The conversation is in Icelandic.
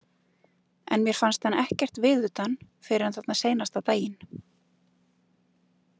En mér fannst hann ekkert viðutan fyrr en þarna seinasta daginn.